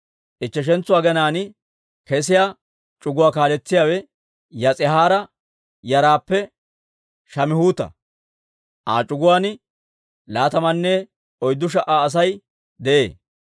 Ichcheshentso aginaan kesiyaa c'uguwaa kaaletsiyaawe Yis'ihaara yaraappe Shamihuuta; Aa c'uguwaan laatamanne oyddu sha"a Asay de'ee.